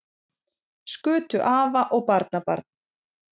Skutu afa og barnabarn